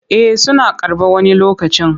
Eh suna karɓa wani lokacin.